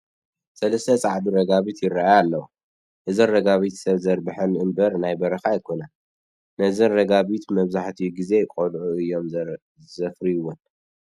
ሰለስተ ፃዕዱ ረጋቢት ይርአያ ኣለዋ፡፡ እዘን ረጋቢት ሰብ ዘርብሐን እምበር ናይ በረኻ ኣይኮናን፡፡ ነዘን ረጋቢት መብዛሕትኡ ግዜ ቆልዑ እዮም ዘፋርይወን፡፡